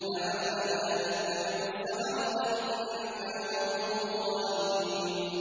لَعَلَّنَا نَتَّبِعُ السَّحَرَةَ إِن كَانُوا هُمُ الْغَالِبِينَ